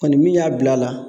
Kɔni min y'a bila a la